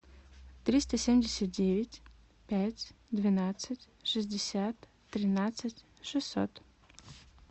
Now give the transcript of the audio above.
триста семьдесят девять пять двенадцать шестьдесят тринадцать шестьсот